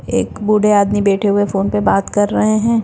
एक बूढ़े आदमी बैठे हुए फोन पे बात कर रहे हैं।